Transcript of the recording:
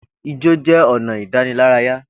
Ijó jẹ́ ọ̀nà ìdánilárayá